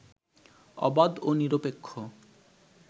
অবাধ ও নিরপেক্ষ